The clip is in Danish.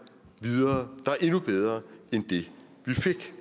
videre der er endnu bedre end det vi fik